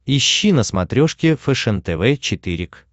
ищи на смотрешке фэшен тв четыре к